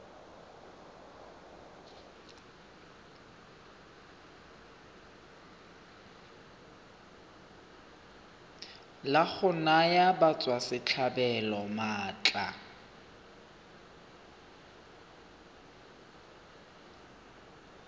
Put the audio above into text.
la go naya batswasetlhabelo maatla